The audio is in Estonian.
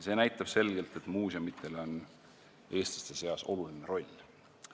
See näitab selgelt, et muuseumidel on eestlaste seas oluline roll.